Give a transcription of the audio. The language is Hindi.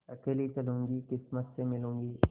अकेली चलूँगी किस्मत से मिलूँगी